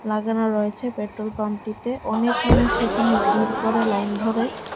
সাজানো রয়েছে পেট্রোল পাম্পটিতে অনেক মানুষ এখানে ভিড় করে লাইন ধরে।